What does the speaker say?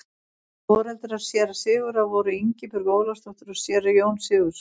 foreldrar séra sigurðar voru ingibjörg ólafsdóttir og séra jón sigurðsson